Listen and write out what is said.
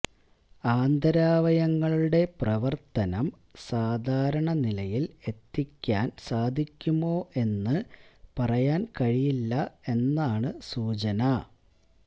ആന്തരാവയവങ്ങളുടെ പ്രവര്ത്തനം സാധാരണനിലയില് എത്തിക്കാന് സാധിക്കുമോ എന്ന് പറയാന് കഴിയില്ല എന്നാണ് സൂചന